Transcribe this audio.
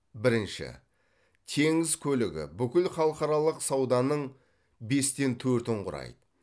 бірінші теңіз көлігі бүкіл халықаралық сауданың бестен төртін құрайды